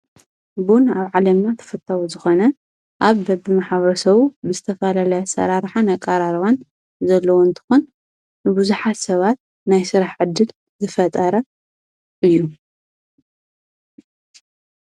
ብን ኣብ ዓለምና ተፈታዊ ዝኾነ ኣብ በብ መሓበር ሰዉ ብስተፋልለያ ሠራርኃን ኣቃራርዋን ዘለዎንትኾን ብዙኃት ሰባት ናይ ሥራሕ ዕድድ ዝፈጠረ እዩ።